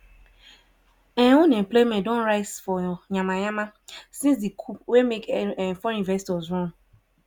um unemployment don rise for myanmar since di coup wey make foreign investors run.